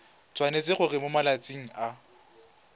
tshwanetse gore mo malatsing a